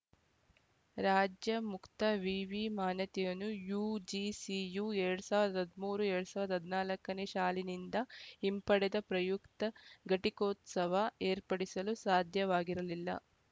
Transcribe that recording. ರಾಜ್ಯ ಮುಕ್ತ ವಿವಿ ಮಾನ್ಯತೆಯನ್ನು ಯುಜಿಸಿಯು ಎರಡ್ ಸಾವಿರದ ಹದಿಮೂರು ಎರಡ್ ಸಾವಿರದ ಹದಿನಾಲ್ಕು ನೇ ಶಾಲಿನಿಂದ ಹಿಂಪಡೆದ ಪ್ರಯುಕ್ತ ಘಟಿಕೋತ್ಸವ ಏರ್ಪಡಿಸಲು ಸಾಧ್ಯವಾಗಿರಲಿಲ್ಲ